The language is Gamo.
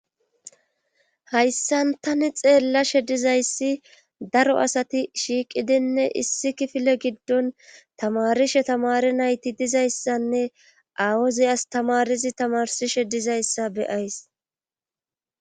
hayssan tani xeellashe dizayssi daro asati shiiqidinne issi kifile giddon tamarishe tamari nayti dizayssanne awuzi astamarizi tamarsishe dizayssa be'ays